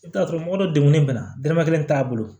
I bɛ t'a sɔrɔ mɔgɔ dɔ degunen bɛ na dɔrɔmɛ kelen t'a bolo